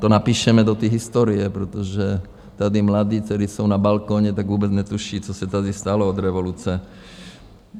To napíšeme do té historie, protože tady mladí, kteří jsou na balkoně, tak vůbec netuší, co se tady stalo od revoluce.